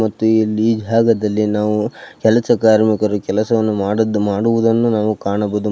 ಮತ್ತು ಇಲ್ಲಿ ಜಾಗದಲ್ಲಿ ನಾವು ಕೆಲಸ ಕಾರ್ಮಿಕರು ಕೆಲಸವನ್ನು ಮಾಡುವುದನ್ನು ನಾವು ಕಾಣಬಹುದು.